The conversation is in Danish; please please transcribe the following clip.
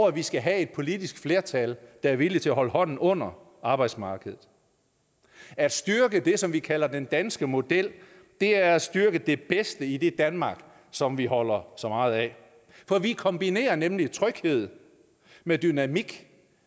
at vi skal have et politisk flertal der er villig til at holde hånden under arbejdsmarkedet at styrke det som vi kalder den danske model er at styrke det bedste i det danmark som vi holder så meget af for vi kombinerer nemlig tryghed med dynamik